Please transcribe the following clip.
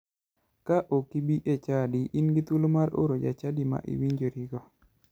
Ka ok ibi echadi, in gi thuolo mar oro jachadi ma iwinjorigo.